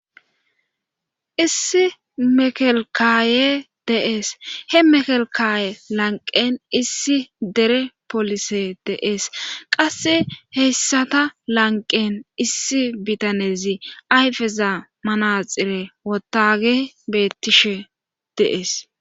issi mekelkaaye de'ees he mekelkaye lanqen issi dere polise de'ees qasse heyssata lanqen issi bitanezi ayfeza manaxire wotage bettishe de'ees